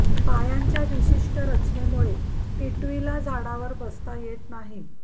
पायांच्या विशिष्ट रचनेमुळे टिटवीला झाडावर बसता येत नाही